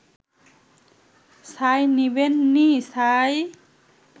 ছাই নিবেন নি…ছাই